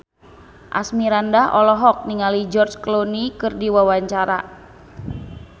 Asmirandah olohok ningali George Clooney keur diwawancara